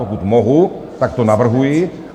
Pokud mohu, tak to navrhuji.